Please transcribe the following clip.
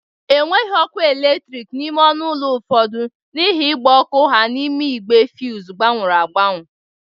Enweghi ọkụ eletriki n'ime ọnụ ọlụ ụfọdụ n'ihe mgba ọkụ ha n'ime igbe fuz gbanyụrụ agbanyụ